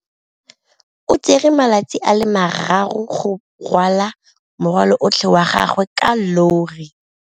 O tsere malatsi a le marraro go rwala morwalo otlhe wa gagwe ka llori.